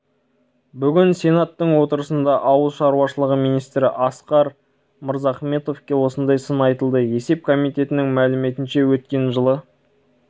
сенаторлар ауыл шаруашылығы саласын сынға алды жыл сайын бюджеттен қомақты қаржы бөлінетін теліміздің аграрлық секторы оң нәтиже көрсетпей отыр